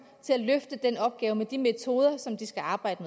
til at løfte den opgave med de metoder som de skal arbejde